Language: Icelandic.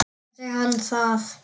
Sagði hann það já.